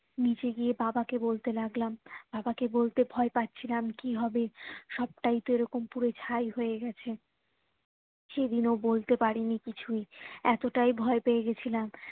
নিচে গিয়ে বাবা কে বলতে লাগলাম বাবা কে বলতে ভয় পাচ্ছিলাম কি হবে সবটাই তো এরকম পুড়ে ছাই হয়ে গেছে সেদিন ও বলতে পারিনি কিছুই এতটাত ভয় পেয়ে গিয়েছিলাম